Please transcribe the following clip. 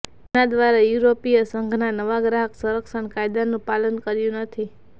જેના દ્વારા યૂરોપીય સંઘના નવા ગ્રાહક સંરક્ષણ કાયદાનું પાલન કર્યુ નથી